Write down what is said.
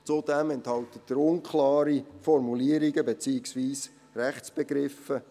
Zudem enthält er unklare Formulierungen beziehungsweise Rechtsbegriffe.